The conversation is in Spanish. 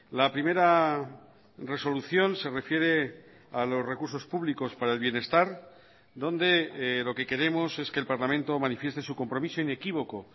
la primera resolución se refiere a los recursos públicos para el bienestar donde lo que queremos es que el parlamento manifieste su compromiso inequívoco